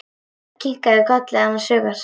Örn kinkaði kolli annars hugar.